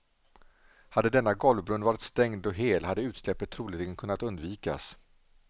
Hade denna golvbrunn varit stängd och hel hade utsläppet troligen kunnat undvikas.